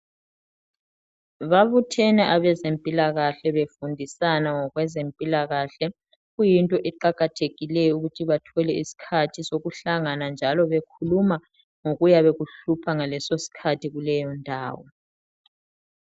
Babuthene abezempilakahle, befundisana ngokwezempilakahle. Kuyinto eqakathekileyo ukuthi bathole iskhathi sokuhlangana njalo bekhuluma ngokuyabe kuhlupha ngaleso skhathi kuleyondawo.